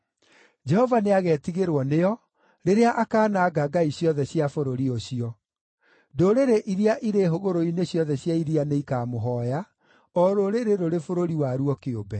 Jehova nĩagetigĩrwo nĩo rĩrĩa akaananga ngai ciothe cia bũrũri ũcio. Ndũrĩrĩ iria irĩ hũgũrũrũ-inĩ ciothe cia iria nĩikamũhooya, o rũrĩrĩ rũrĩ bũrũri waruo kĩũmbe.